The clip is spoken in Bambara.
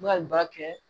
ba kɛ